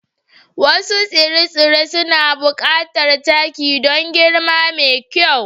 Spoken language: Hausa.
Wasu tsire-tsire suna buƙatar taki don girma mai kyau.